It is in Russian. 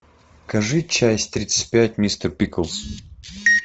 покажи часть тридцать пять мистер пиклз